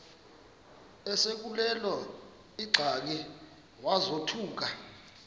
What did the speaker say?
esekuleyo ingxaki wazothuka